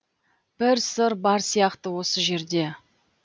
бір сыр бар сияқты осы жерде